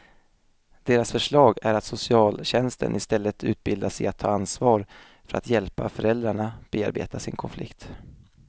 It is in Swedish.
Deras förslag är att socialtjänsten istället utbildas i att ta ansvar för att hjälpa föräldrarna bearbeta sin konflikt.